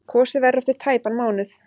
Kosið verður eftir tæpan mánuð.